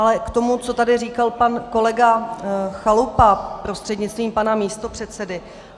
Ale k tomu, co tady říkal pan kolega Chalupa prostřednictvím pana místopředsedy.